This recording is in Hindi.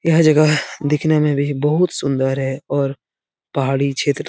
यह जगह दिखने में भी बहुत सुंदर है और पाहाडी क्षेत्र --